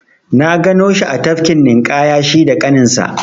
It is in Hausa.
Na gano shi a tafkin ninƙaya shi da ƙaninsa.